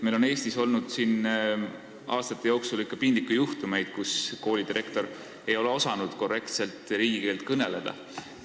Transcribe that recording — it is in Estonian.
Meil on Eestis aastate jooksul olnud ka piinlikke juhtumeid, kus koolidirektor ei ole osanud korrektselt riigikeelt kõneleda.